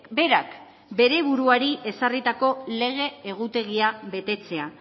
berak bere buruari ezarritako lege egutegia betetzea